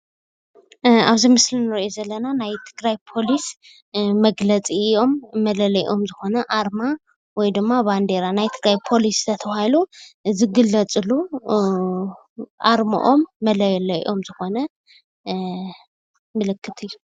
ኣብዚ ምስሊ እንሪኦ ዘለና ናይ ትግራይ ፖሊስ መግለፂኦም መለለይኦም ዝኾነ ኣረማ ወይ ድማ ባንዴራ ናይ ትግራይ ፖሊስ እናተብሃሉ ዝግለፅሉ ኣርሞኦም መለለይኦም ዝኾነ ምልክት እዩ፡፡